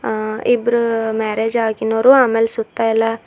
ಆ ಇಬ್ರು ಮ್ಯಾರೇಜ್ ಆಗಿನರು ಅಮೇಲೆ ಸುತ್ತ ಎಲ್ಲ--